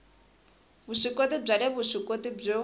vuswikoti bya le vuswikoti byo